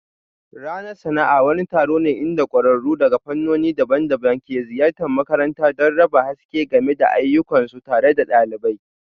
Ranar sana'a wani taron ne inda kwararru daga fannoni daban-daban ke ziyartar makarantar don raba haske game da ayyukansu tare da ɗalibai